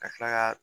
Ka tila ka